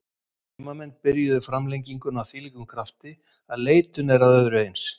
Heimamenn byrjuðu framlenginguna af þvílíkum krafti að leitun er að öðru eins.